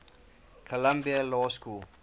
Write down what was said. columbia law school